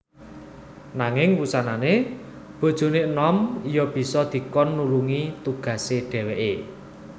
Nanging wusanané bojoné enom iya bisa dikon nulungi tugasé dhèwèké